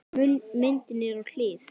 Myndin er á hlið.